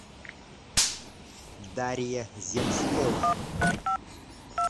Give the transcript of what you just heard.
дарья земскова